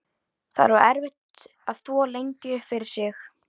Það var erfitt að þvo lengi upp fyrir sig.